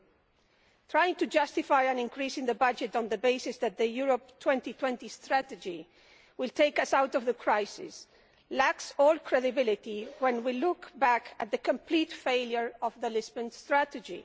The attempt to justify an increase in the budget on the basis that the Europe 2020 Strategy will take us out of the crisis lacks all credibility when we look back at the complete failure of the Lisbon Strategy.